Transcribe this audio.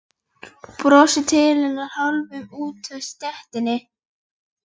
Brosir til hennar hálfur úti á stéttinni.